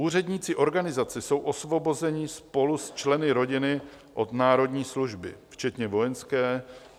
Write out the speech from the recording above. Úředníci organizace jsou osvobozeni spolu s členy rodiny od národní služby včetně vojenské.